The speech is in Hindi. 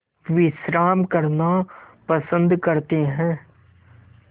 विश्राम करना पसंद करते हैं